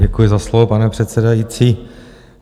Děkuji za slovo, pane předsedající.